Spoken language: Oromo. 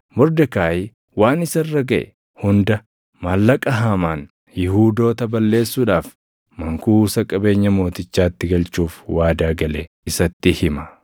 Mordekaayi waan isa irra gaʼe hunda, maallaqa Haamaan Yihuudoota balleessuudhaaf mankuusa qabeenya mootichaatti galchuuf waadaa gale isatti hima.